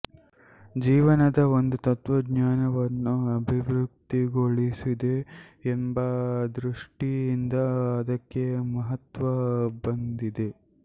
ಜೀವನದ ಒಂದು ತತ್ತ್ವಜ್ಞಾನವನ್ನು ಅಭಿವ್ಯಕ್ತಗೊಳಿಸಿದೆ ಎಂಬ ದೃಷ್ಟಿಯಿಂದ ಅದಕ್ಕೆ ಮಹತ್ತ್ವ ಬಂದಿದೆ